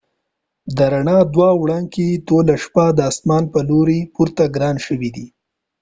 د ر ڼا دوه وړانګې ټوله شپه د آسمان پر لوری پورته کړای شوي وي